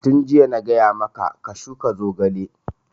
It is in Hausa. Tun jiya na gaya maka ka shuka zogale!